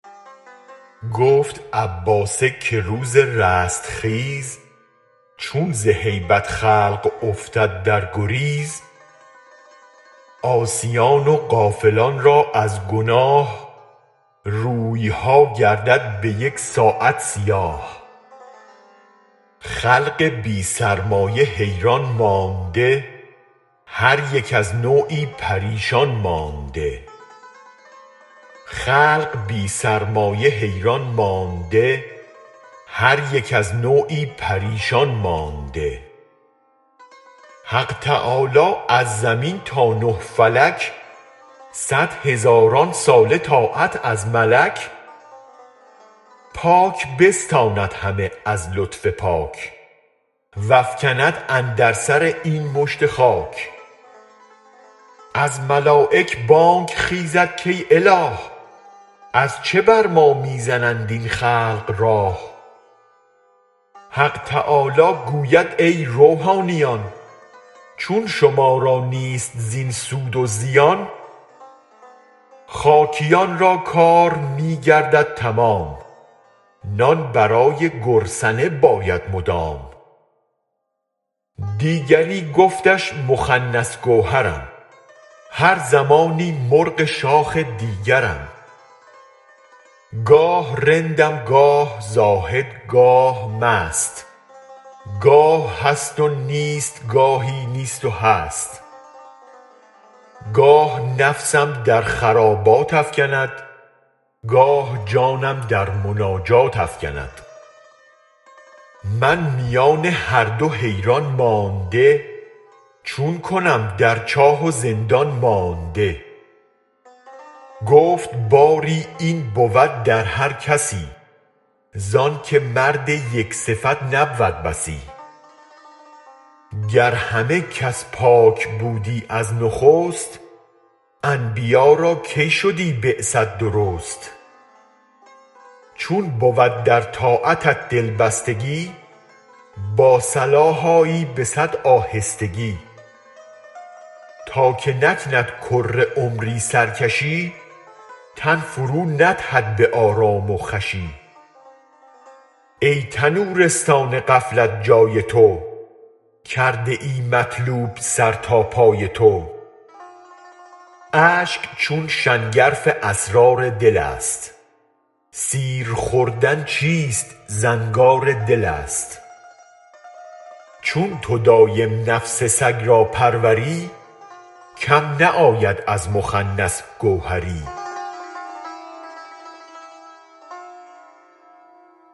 گفت عباسه که روز رستخیز چون زهیبت خلق افتد در گریز عاصیان و غافلان را از گناه رویها گردد به یک ساعت سیاه خلق بی سرمایه حیران مانده هر یک از نوعی پریشان مانده حق تعالی از زمین تا نه فلک صد هزاران ساله طاعت از ملک پاک بستاند همه از لطف پاک وافکند اندر سر این مشت خاک از ملایک بانگ خیزد کای اله از چه بر ما می زنند این خلق راه حق تعالی گوید ای روحانیان چون شما را نیست زین سود و زیان خاکیا ن را کار می گردد تمام نان برای گرسنه باید مدام دیگری گفتش مخنث گوهرم هر زمانی مرغ شاخ دیگرم گاه رندم گاه زاهد گاه مست گاه هست و نیست و گاهی نیست و هست گاه نفسم در خرابات افکند گاه جانم در مناجات افکند من میان هر دو حیران مانده چون کنم در چاه و زندان مانده گفت باری این بود در هر کسی زانک مردم یک صفت نبود بسی گر همه کس پاک بودی از نخست انبیا را کی شدی بعثت درست چون بود در طاعتت دلبستگی با صلاح آیی به صد آهستگی تا که نکند کره عمری سرکشی تن فروندهد به آرام و خوشی ای تنورستان غفلت جای تو کرده مطلوب سر تا پای تو اشک چون شنگرف اسرار دلست سیرخوردن چیست زنگار دلست چون تو دایم نفس سگ را پروری کم نه آید از مخنث گوهری